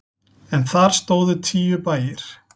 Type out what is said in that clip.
En þar stóðu tíu bæir.